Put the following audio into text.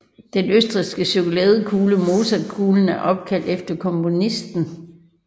Den østrigske chokoladekugle Mozartkugle er opkaldt efter komponisten